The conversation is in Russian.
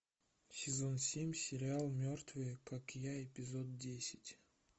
сезон семь сериал мертвые как я эпизод десять